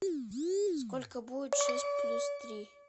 сколько будет шесть плюс три